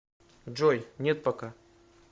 джой нет пока